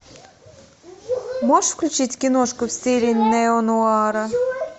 можешь включить киношку в стиле неонуара